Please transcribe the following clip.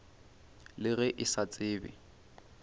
le ge a sa tsebe